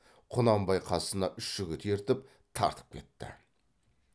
құнанбай қасына үш жігіт ертіп тартып кетті